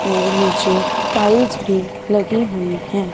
और नीचे टाइल्स भी लगी हुई है।